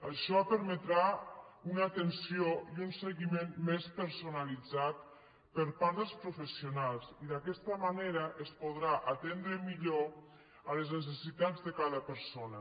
això permetrà una atenció i un seguiment més personalitzats per part dels professionals i d’aquesta manera es podran atendre millor les necessitats de cada persona